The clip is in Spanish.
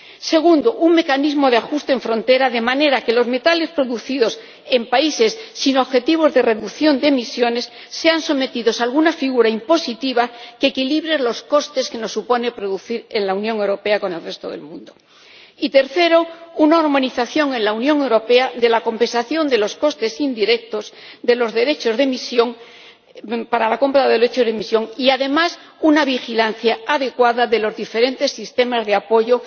Segundo un mecanismo de ajuste en frontera, de manera que los metales producidos en países sin objetivos de reducción de emisiones sean sometidos a alguna figura impositiva que equilibre los costes que nos supone producir en la Unión Europea con los del resto del mundo. Y tercero una armonización en la Unión Europea de la compensación de los costes indirectos para la compra de los derechos de emisión y, además, una vigilancia adecuada de los diferentes sistemas de apoyo